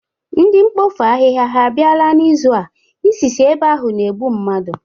Ndị mpofu ahịha ha abịala n'ịzụ a? Isi si ebe ahụ na-egbụ mmadụ.